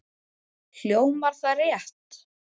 Hljómar það rétt?